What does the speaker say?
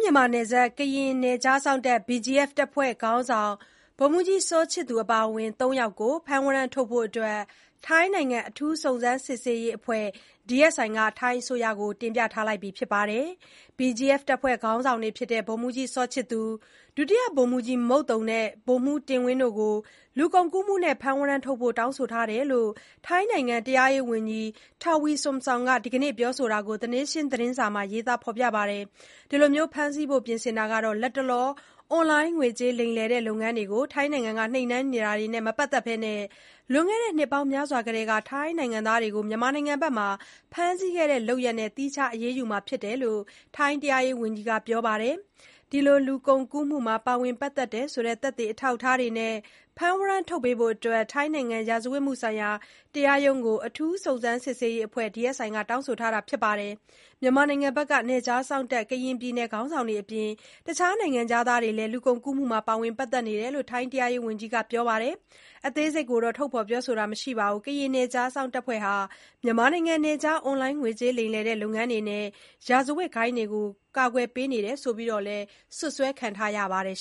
မြန်မာနယ်စပ် ကရင်နယ်ခြားစောင့်တပ် BGF တပ်ဖွဲ့ ခေါင်းဆောင် ဗိုလ်မှူးကြီးစောချစ်သူအပါအဝင် သုံးယောက်ကို ဖမ်းဝရမ်းထုတ်ဖို့ ထိုင်းနိုင်ငံ အထူးစုံစမ်းစစ်ဆေးရေးအဖွဲ့ DSI က ထိုင်းအစိုးရကို တောင်းဆိုထားပါတယ်။ BGF တပ်ဖွဲ့ ခေါင်းဆောင်တွေဖြစ်တဲ့ ဗိုလ်မှူးကြီး စောချစ်သူ၊ ဒုတိယဗိုလ်မှူးကြီး မုတ်သုန်နဲ့ ဗိုလ်မှူးတင်ဝင်းတို့ကို လူကုန်ကူးမှုနဲ့ ဖမ်းဝရမ်းထုတ်ဖို့ တောင်းဆိုတာ ဖြစ်တဲ့အကြောင်း ထိုင်းနိုင်ငံ တရားရေးဝန်ကြီး Tawee Sodsong က ဒီနေ့ ပြောဆိုတာကို The Nation သတင်းစာမှာ ရေးပါတယ်။ အခု ဖမ်းဆီးဖို့ ပြင်ဆင်တာဟာ လတ်တလော အွန်လိုင်းငွေကြေးလိမ်လည်တဲ့ လုပ်ငန်းတွေကို ထိုင်းနိုင်ငံက နှိမ်နှင်းနေတာတွေနဲ့ မပတ်သက်ဘဲ၊ လွန်ခဲ့တဲ့နှစ်ပေါင်းများစွာကတည်းက ထိုင်းနိုင်ငံသားတွေကို မြန်မာနိုင်ငံဘက်မှာ ဖမ်းဆီးခဲ့တဲ့ လုပ်ရပ်နဲ့ သီးခြား အရေးယူမှာ ဖြစ်တယ်လို့လည်း ထိုင်းတရားရေးဝန်ကြီးက ပြောပါတယ်။ ဒီလို လူကုန်ကူးမှုမှာ ပါဝင်ပတ်သက်တယ်ဆိုတဲ့ သက်သေအထောက်အထားတွေနဲ့ ဖမ်းဝရမ်းထုတ်ပေးဖို့ ထိုင်းနိုင်ငံ ရာဇဝတ်မှုဆိုင်ရာ တရားရုံးကို အထူးစုံစမ်းစစ်ဆေးရေးအဖွဲ့ DSI က တောင်းဆိုထားပါတယ်။ မြန်မာနိုင်ငံဘက်က နယ်ခြားစောင့်တပ်ဖွဲ့(ကရင်ပြည်နယ်) ခေါင်းဆောင်တွေအပြင် တခြား နိုင်ငံခြားသားတွေလည်း လူကုန်ကူးမှုမှာ ပါဝင်ပတ်သက်နေတယ်လို့ ထိုင်း တရားရေးဝန်ကြီးက ပြောပါတယ်။ အသေးစိတ်ကိုတော့ ထုတ်ဖေါ်ပြောဆိုခြင်း မရှိပါဘူး။ ကရင်နယ်ခြားစောင့်တပ်ဖွဲ့ဟာ မြန်မာနိုင်ငံနယ်ခြား အွန်လိုင်းငွေကြေးလိမ်လည်တဲ့ လုပ်ငန်းတွေနဲ့ ရာဇဝတ်ဂိုဏ်းတွေကို ကာကွယ်ပေးနေတယ်ဆိုပြီး စွပ်စွဲခံထားရပါတယ်